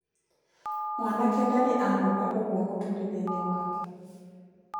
Mwanake ndarĩ anoga ũguo mũtũrĩre-inĩ wake.